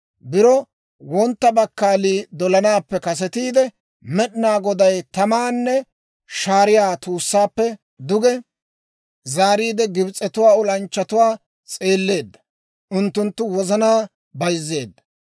Biro wontta bakkaalii dolanaappe kasetiide, Med'inaa Goday tamaanne shaariyaa tuussaappe duge zaariide, Gibs'etuwaa olanchchatuwaa s'eelleedda; unttunttu wozanaa bayzzeedda.